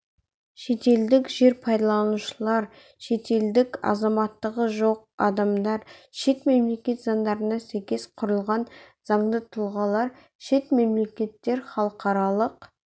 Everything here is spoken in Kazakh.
шетелдік жер пайдаланушылар шетелдіктер азаматтығы жоқ адамдар шет мемлекет заңдарына сәйкес құрылған заңды тұлғалар шет мемлекеттер халықаралық